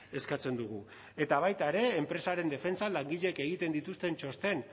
eskatzen dugu eta baita ere enpresaren defentsan langileek egiten dituzten txosten